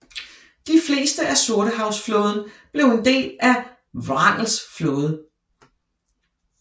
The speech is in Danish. De fleste af Sortehavsflåden blev en del af Wrangels Flåde